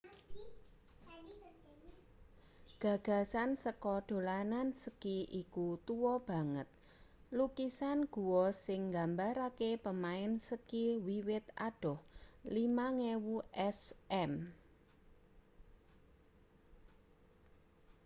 gagasan saka dolanan ski iku tua banget lukisan gua sing nggambarake pemain ski wiwit adoh 5000 sm